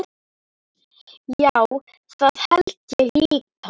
Já, það held ég líka.